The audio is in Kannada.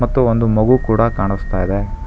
ಮತ್ತು ಒಂದು ಮಗು ಕೂಡ ಕಾನಸ್ತಾ ಇದೆ.